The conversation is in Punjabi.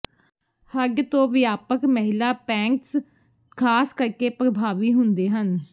ਹੰਢ ਤੋਂ ਵਿਆਪਕ ਮਹਿਲਾ ਪੈਂਟਜ਼ ਖਾਸ ਕਰਕੇ ਪ੍ਰਭਾਵੀ ਹੁੰਦੇ ਹਨ